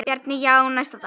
Bjarni: Já, næsta dag.